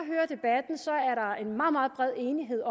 en meget meget bred enighed